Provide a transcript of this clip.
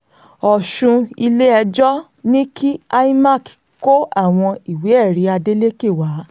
ọ̀ṣùn ilé-ẹjọ́ ní kí imac kó àwọn ìwé-ẹ̀rí adeleke wá